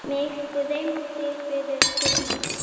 Mig dreymdi fyrir því.